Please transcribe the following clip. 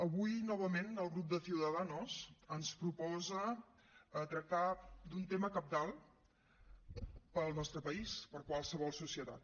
avui novament el grup de ciudadanos ens proposa tractar d’un tema cabdal per al nostre país per a qualsevol societat